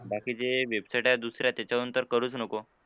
बाकी जे website आहे दुसऱ्या त्याच्यावरून तर करूच नको.